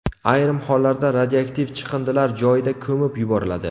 Ayrim hollarda radioaktiv chiqindilar joyida ko‘mib yuboriladi.